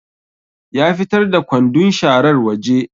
Ya fitar da kwandun sharar waje